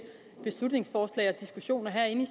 beslutningsforslag og diskussioner herinde i